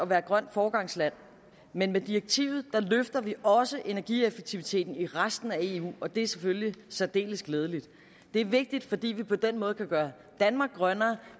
være et grønt foregangsland men med direktivet løfter vi også energieffektiviteten i resten af eu og det er selvfølgelig særdeles glædeligt det er vigtigt fordi vi på den måde kan gøre danmark grønnere